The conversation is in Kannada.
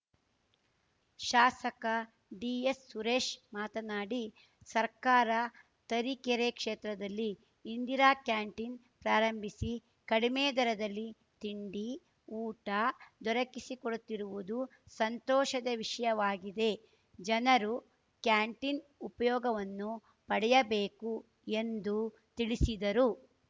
ಶಾಸಕ ಡಿಎಸ್‌ಸುರೇಶ್‌ ಮಾತನಾಡಿ ಸರ್ಕಾರ ತರೀಕೆರೆ ಕ್ಷೇತ್ರದಲ್ಲಿ ಇಂದಿರಾ ಕ್ಯಾಂಟೀನ್‌ ಪ್ರಾರಂಭಿಸಿ ಕಡಿಮೆ ದರದಲ್ಲಿ ತಿಂಡಿ ಊಟ ದೊರಕಿಸಿಕೊಡುತ್ತಿರುವುದು ಸಂತೋಷದ ವಿಷಯವಾಗಿದೆ ಜನರು ಕ್ಯಾಂಟೀನ್‌ ಉಪಯೋಗವನ್ನು ಪಡೆಯಬೇಕು ಎಂದು ತಿಳಿಸಿದರು